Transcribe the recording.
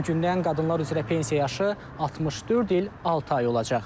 Bugündən qadınlar üzrə pensiya yaşı 64 il altı ay olacaq.